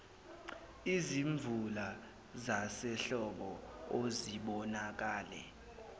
izimvula zasehlobo okubonakale